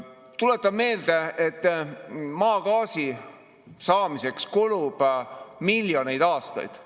Tuletan meelde, et maagaasi saamiseks kulub miljoneid aastaid.